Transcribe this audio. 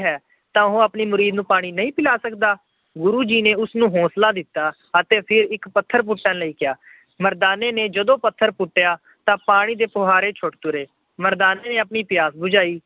ਤਾਂ ਉਹ ਆਪਣੇ ਮੁਰੀਰ ਨੂੰ ਪਾਣੀ ਨਹੀਂ ਪਿਲਾ ਸਕਦਾ। ਗੁਰੂ ਜੀ ਨੇ ਉਸ ਨੂੰ ਹੌਂਸਲਾ ਦਿੱਤਾ ਅਤੇ ਇੱਕ ਪੱਥਰ ਪੁੱਟਣ ਲਈ ਕਿਹਾ। ਮਰਦਾਨੇ ਨੇ ਜਦੋਂ ਪੱਥਰ ਪੁੱਟਿਆ ਤਾਂ ਪਾਣੀ ਦੇ ਫੁਹਾਰੇ ਛੁੱਟ ਤੁਰੇ। ਮਰਦਾਨੇ ਨੇ ਆਪਣੀ ਪਿਆਸ ਬੁਝਾਈ।